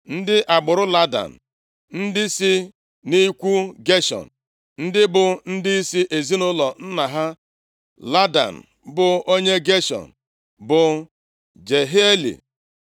Ndị agbụrụ Ladan, ndị si nʼikwu Geshọn, ndị bụ ndịisi ezinaụlọ nna ha Ladan, bụ onye Geshọn, bụ Jehieli,